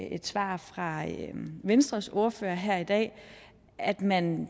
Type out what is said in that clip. i et svar fra venstres ordfører her i dag at man